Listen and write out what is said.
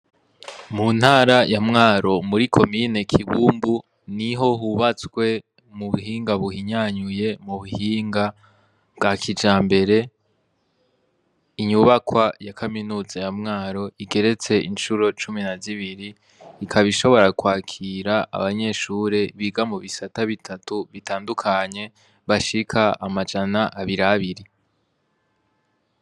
Mu ntara ya mwaro muri komine kibumbu niho hubatswe mu buhinga buhinyanyuye mu buhinga bwa kijambere inyubakwa ya kaminuza ya mwaro igeretse incuro cumi na zibiri ikaba ishobora kwakira abanyeshure biga mu bisata bitatu bitandukanye bashika amajana abir abiri